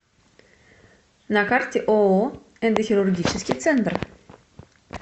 на карте ооо эндохирургический центр